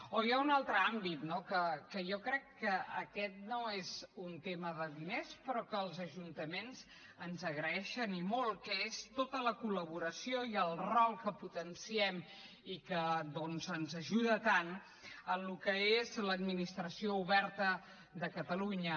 o hi ha un altre àmbit no que jo crec que aquest no és un tema de diners però que els ajuntaments ens agraeixen i molt que és tota la col·laboració i el rol que potenciem i que doncs ens ajuda tant en el que és l’administració oberta de catalunya